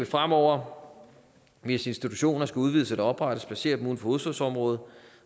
fremover hvis institutioner skal udvides eller oprettes placere dem uden for hovedstadsområdet